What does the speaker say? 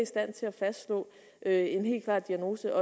stand til at fastslå en helt klar diagnose